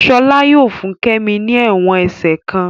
Shola yóò fún kemi ní èwòn ẹsẹ kán